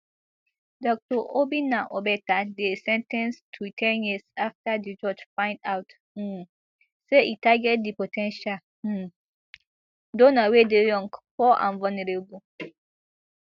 dr obinna obeta dey sen ten ced to ten years afta di judge find out um say e target di po ten tial um donor wey dey young poor and vulnerable